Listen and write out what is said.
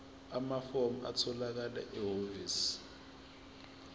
amafomu atholakala ehhovisi